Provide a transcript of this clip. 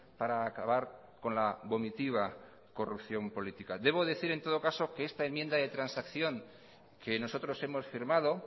para acabar con la vomitiva corrupción política debo decir en todo caso que esta enmienda de transacción que nosotros hemos firmado